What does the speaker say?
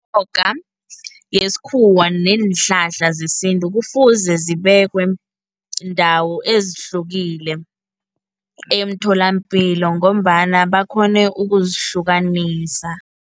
Imitjhoga yesikhuwa neenhlahla zesintu, kufuze zibekwe ndawo ezihlukile emtholapilo, ngombana bakghone ukuzihlukanisa.